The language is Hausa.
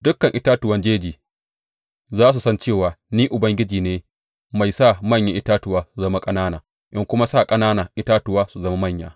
Dukan itatuwan jeji za su san cewa Ni Ubangiji ne mai sa manyan itatuwa su zama ƙanana in kuma sa ƙananan itatuwa su zama manya.